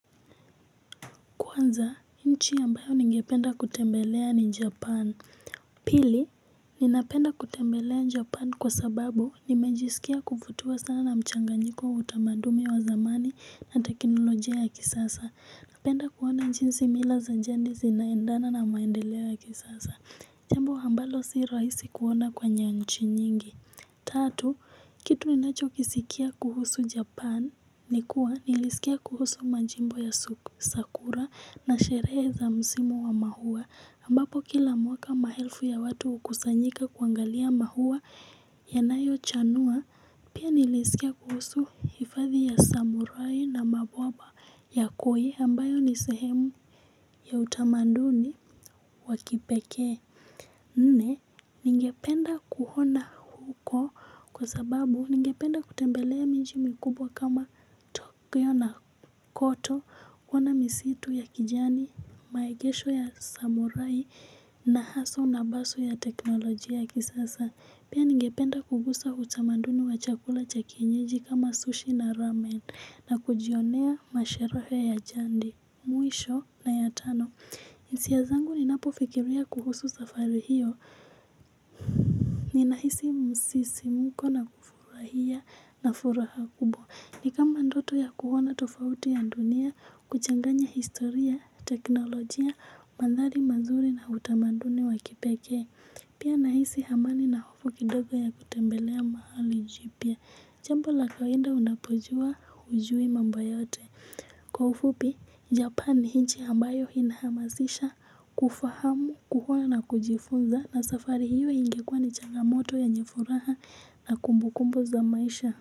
Kwanza, nchi ambayo ningependa kutembelea ni Japan. Pili, ninapenda kutembelea Japan kwa sababu nimejisikia kuvutiwa sana na mchanganyiko wa utamadumi wa zamani na teknolojia ya kisasa. Napenda kuona jinsi mila za jadi zinaendana na maendeleo ya kisasa. Jambo ambalo si rahisi kuona kwenye nchi nyingi. Tatu, kitu ninachokisikia kuhusu Japan ni kuwa nilisikia kuhusu majimbo ya sakura na sherehe za msimu wa maua ambapo kila mwaka maelfu ya watu hukusanyika kuangalia maua yanayochanua. Pia nilisikia kuhusu hifadhi ya samurai na maboba ya koi ambayo ni sehemu ya utamaduni wa kipekee. Nne, ningependa kuona huko kwa sababu ningependa kutembelea miji mikubwa kama tokyo na kyoto, kuona misitu ya kijani, maegesho ya samurai na hustle na bustle ya teknolojia ya kisasa. Pia ningependa kugusa utamaduni wa chakula cha kienyeji kama sushi na ramen na kujionea masherehe ya jadi. Mwisho na ya tano hisia zangu ninapofikiria kuhusu safari hiyo ninahisi msisimko na kufurahia na furaha kubwa ni kama ndoto ya kuona tofauti ya dunia kuchanganya historia, teknolojia, mandhari mazuri na utamaduni wa kipekee. Pia nahisi amani na hofu kidogo ya kutembelea mahali jipya jambo la kawaida unapojua hujui mambo yote kwa ufupi, Japan ni nchi ambayo inahamasisha kufahamu, kuona na kujifunza na safari hiyo ingekuwa ni changamoto yenye furaha na kumbukumbu za maisha.